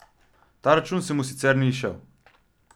Ta račun se mu sicer ni izšel.